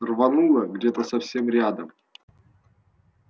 рвануло где то совсем рядом